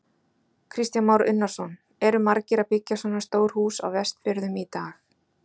Kristján Már Unnarsson: Eru margir að byggja svona stór hús á Vestfjörðum í dag?